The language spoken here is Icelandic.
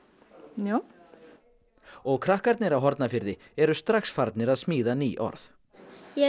já og krakkarnir á Hornafirði eru strax farnir að smíða ný orð ég